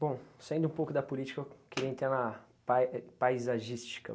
Bom, saindo um pouco da política, eu queria entrar na pai e paisagística.